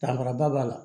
Danfaraba b'a la